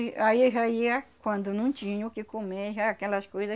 Aí eu já ia, quando não tinha o que comer, já aquelas coisas.